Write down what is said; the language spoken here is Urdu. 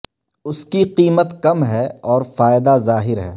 اس کی قیمت کم ہے اور فائدہ ظاہر ہے